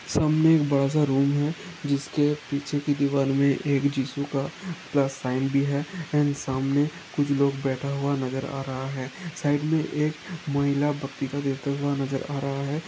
सामने एक बड़ा सा रूम है जिसके पीछे की दीवार में एक जिसु का प्लस साइन भी है और सामने कुछ लोग बैठा हुआ नजर आ रहा है साइड में एक महिला भक्ति का देते हुए नजर आ रहा है।